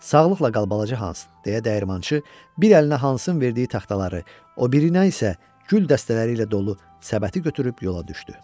Sağlıqla qal balaca Hans, deyə dəyirmançı bir əlinə Hansın verdiyi taxtaları, o birinə isə gül dəstələri ilə dolu səbəti götürüb yola düşdü.